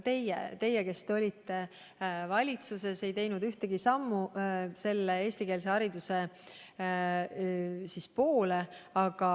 Ka teie, kes te olite valitsuses, ei teinud ühtegi sammu eestikeelse hariduse poole.